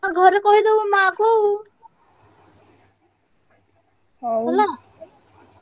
ଆଉ ଘରେ କହିଦବୁ ମାଆକୁ ଆଉ ହେଲା।